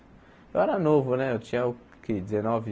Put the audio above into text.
Eu era novo né, eu tinha o que dezenove